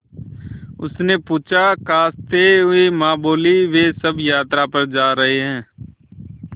उसने पूछा खाँसते हुए माँ बोलीं वे सब यात्रा पर जा रहे हैं